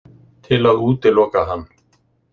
Til að útiloka hann.